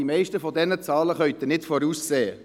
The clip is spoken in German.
Die meisten dieser Zahlen kann man nicht voraussehen.